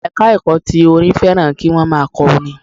Ẹ̀ka ẹ̀kọ́ ti orin fẹ́ràn kí wọ́n má a kọ orin